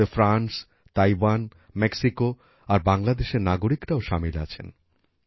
এদের মধ্যে France Taiwan Mexico আর বাংলাদেশ এর নাগরিকরাও সামিল আছেন